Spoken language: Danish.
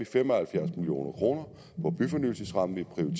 fem og halvfjerds million kroner på byfornyelsesrammen som